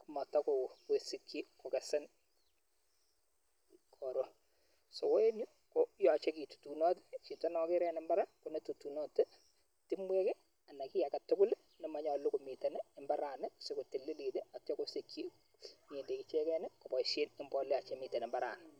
ak matakosik hi ko kesen ko eng Yu yachen ketutunot timwek anan kii agetugul ne manyolu siko tililit ndaitya ko sichi ng'endek ichegen kobosei mbolea che mitei ibaranii